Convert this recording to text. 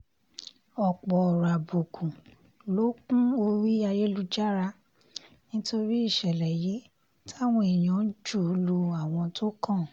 ọ̀pọ̀ ọ̀rọ̀ àbùkù ló kún orí ayélujára nítorí ìṣẹ̀lẹ̀ yìí táwọn èèyàn ń jù ú lu àwọn tó kàn